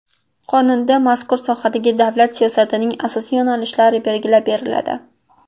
Qonunda mazkur sohadagi davlat siyosatining asosiy yo‘nalishlari belgilab beriladi.